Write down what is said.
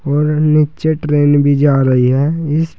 और नीचे ट्रेन भी जा रही है इस--